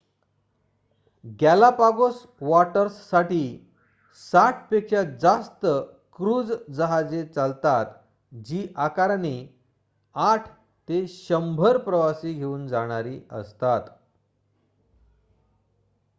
Galapagos वॉटर्ससाठी 60 पेक्षा जास्त क्रूझ जहाजे चालतात जी आकाराने 8 ते 100 प्रवासी घेऊन जाणारी असतात